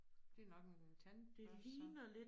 Det nok en tandbørste så